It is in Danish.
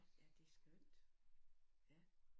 Ja det skønt ja